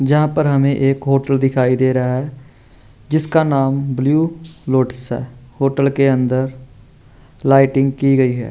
जहाँ पर हमें एक होटल दिखाई दे रहा है जिसका नाम ब्लू लोटस है होटल के अन्दर लाइटिंग की गयी है।